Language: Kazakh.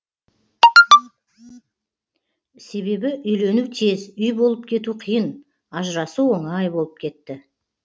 себебі үйлену тез үй болып кету қиын ажырасу оңай болып кетті